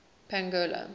pongola